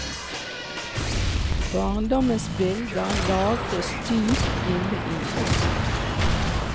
Barndommens bilder lagres dypt inne i oss.